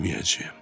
bilməyəcəyəm.